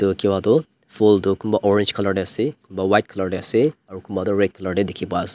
dekhi pua tu phool tu kunba orange colour te ase kunba white colour te ase aru kunba tu red colour te dekhi pa ase.